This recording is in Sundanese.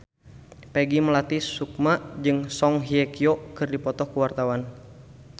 Peggy Melati Sukma jeung Song Hye Kyo keur dipoto ku wartawan